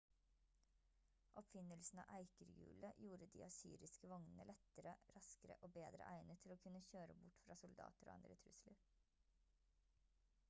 oppfinnelsen av eikerhjulet gjorde de assyriske vognene lettere raskere og bedre egnet til å kunne kjøre bort fra soldater og andre trusler